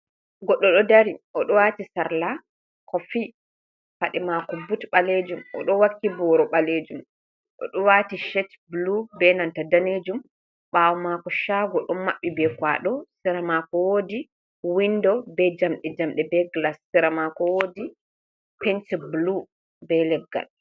Goɗɗo ɗo dari, o ɗo waati sarla kofi, paɗe maako but ɓaleejum, o ɗo wakki booro ɓaleejum, o ɗo waati cet bulu, be nanta daneejum, ɓaawo maako caago ɗon maɓɓi be kuwaɗo, sera maako woodi winndo, be jamɗe jamɗe, be gilas, sera maako woodi penti bulu, be leggal.